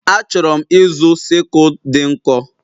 Achọrọ m ịzụ sickle dị nkọ.